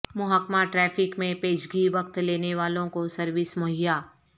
محکمہ ٹریفک میں پیشگی وقت لینے والوں کو سروس مہیا